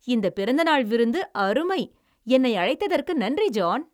இந்த பிறந்தநாள் விருந்து அருமை! என்னை அழைத்ததற்கு நன்றி, ஜான்!